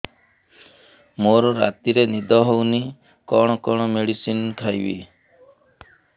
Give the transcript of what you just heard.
ମୋର ରାତିରେ ନିଦ ହଉନି କଣ କଣ ମେଡିସିନ ଖାଇବି